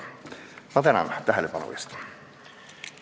Ma tänan tähelepanu eest!